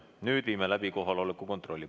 Nüüd viime läbi kohaloleku kontrolli.